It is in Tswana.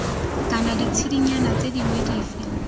kana ditshedinyana tse dingwe dife